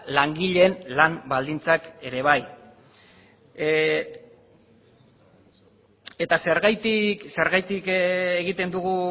langileen lan baldintzak ere bai eta